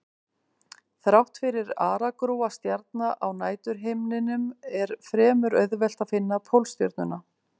Þrátt fyrir aragrúa stjarna á næturhimninum er fremur auðvelt að finna Pólstjörnuna.